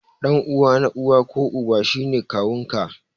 Ɗan uwa na uwa ko Uba shi ne kawun ka.